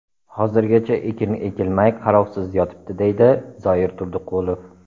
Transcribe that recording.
Hozirgacha ekin ekilmay, qarovsiz yotibdi”, deydi Zoir Turdiqulov.